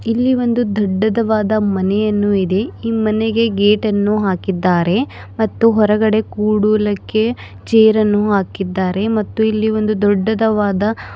ಇಲ್ಲಿ ಒಂದು ದೊಡ್ಡದವಾದ ಮನೆಯನ್ನು ಇದೆ ಈ ಮನೆಗೆ ಗೇಟ್ ಅನ್ನು ಹಾಕಿದ್ದಾರೆ ಮತ್ತು ಹೊರಗಡೆ ಕೂಡೂಲಕ್ಕೆ ಚೇರ್ ಅನ್ನು ಹಾಕಿದ್ದಾರೆ ಮತ್ತು ಇಲ್ಲಿ ದೊಡ್ಡದವಾದ--